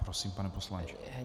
Prosím, pane poslanče.